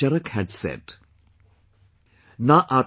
Acharya Charak had said...